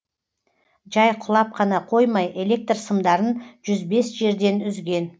жай құлап қана қоймай электр сымдарын жүз бес жерден үзген